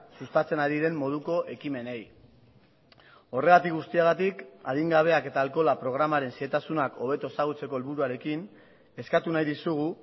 sustatzen ari den moduko ekimenei horregatik guztiagatik adingabeak eta alkohola programaren xehetasunak hobeto ezagutzeko helburuarekin eskatu nahi dizugu